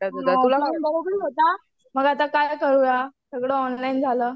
होता मग आता काय करूया सगळं ऑनलाईन झालं.